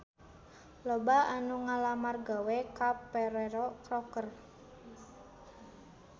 Loba anu ngalamar gawe ka Ferrero Rocher